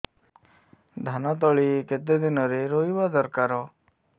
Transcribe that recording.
ଧାନ ତଳି କେତେ ଦିନରେ ରୋଈବା ଦରକାର